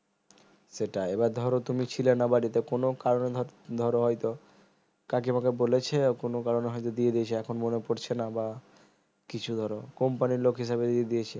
সেটাই এইবার ধরো তুমি ছিলে না বাড়িতে কোনো কারণে ধরো হয়তো কাকিমা কে বলেছে কোনো কারণে হইতো দিয়ে দিয়েছে এখন মনে পড়েছে না বা কিছু ধরো company লোক হিসেবে দিয়ে দিয়েছে